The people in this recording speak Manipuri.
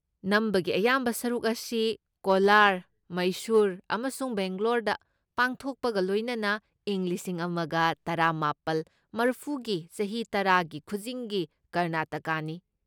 ꯅꯝꯕꯒꯤ ꯑꯌꯥꯝꯕ ꯁꯔꯨꯛ ꯑꯁꯤ ꯀꯣꯂꯥꯔ, ꯃꯩꯁꯨꯔ ꯑꯃꯁꯨꯡ ꯕꯦꯡꯒꯂꯣꯔꯗ ꯄꯥꯡꯊꯣꯛꯄꯒ ꯂꯣꯏꯅꯅ ꯏꯪ ꯂꯤꯁꯤꯡ ꯑꯃꯒ ꯇꯔꯥꯃꯥꯄꯜ ꯃꯔꯐꯨꯒꯤ ꯆꯍꯤ ꯇꯔꯥꯒꯤ ꯈꯨꯖꯤꯡꯒꯤ ꯀꯔꯅꯥꯇꯀꯥꯅꯤ꯫